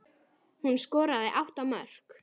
Hún skoraði átta mörk.